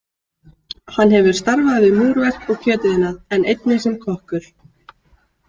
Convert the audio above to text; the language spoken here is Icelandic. Hann hefur starfað við múrverk og kjötiðnað, en einnig sem kokkur.